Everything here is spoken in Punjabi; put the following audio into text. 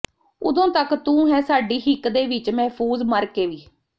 ਉਦੋਂ ਤੱਕ ਤੂੰ ਹੈਂ ਸਾਡੀ ਹਿੱਕ ਦੇ ਵਿਚ ਮਹਿਫ਼ੂਜ਼ ਮਰ ਕੇ ਵੀ